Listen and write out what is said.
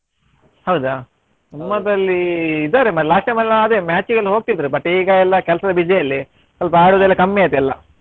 ಹೌದಾ ನಮ್ಮದ್ರಲ್ಲಿ ಇದ್ದಾರೆ ಒಮ್ಮೆ last time ಎಲ್ಲ match ಗೆಲ್ಲ ಹೋಗ್ತಿದ್ರು but ಈಗ ಎಲ್ಲ ಕೆಲ್ಸದ busy ಯಲ್ಲಿ ಸ್ವಲ್ಪ ಆಡುವುದು ಎಲ್ಲ ಕಮ್ಮಿಯಾಯ್ತು ಎಲ್ಲಾ.